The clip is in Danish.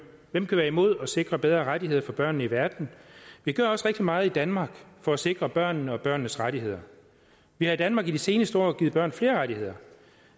hvem kan være imod at sikre bedre rettigheder for børnene i verden vi gør også rigtig meget i danmark for at sikre børnene og børnenes rettigheder vi har i danmark i de seneste år givet børn flere rettigheder